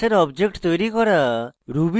class এর objects তৈরী করা